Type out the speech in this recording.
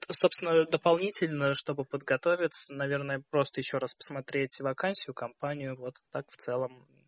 собственно дополнительно чтобы подготовиться наверное просто ещё раз посмотреть вакансию компанию вот так в целом